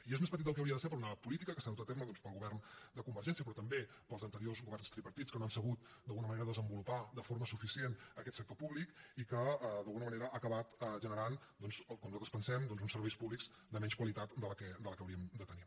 i és més petit del que hauria de ser per una política que s’ha dut a terme doncs pel govern de convergència però també pels anteriors governs tripartits que no han sabut d’alguna manera desenvolupar de forma suficient aquest sector públic i que d’alguna manera ha acabat generant com nosaltres pensem uns serveis públics de menys qualitat que la que hauríem de tenir